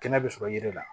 Kɛnɛ bɛ sɔrɔ yiri la